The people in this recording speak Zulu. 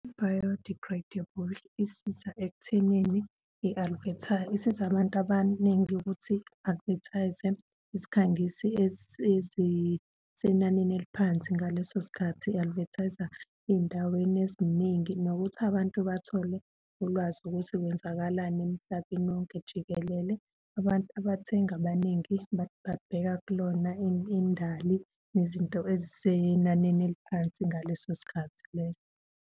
I-biodegradable isiza ekuthenini isiza abantu abaningi ukuthi i-advertise-e isikhangisi ezisenanini eliphansi ngaleso sikhathi, i-advertise-a ey'ndaweni eziningi, nokuthi abantu bathole ulwazi ukuthi kwenzakalani emhlabeni wonke jikelele. Abantu abathengi abaningi babheka kulona indali nezinto ezisenanini eliphansi ngaleso sikhathi leso.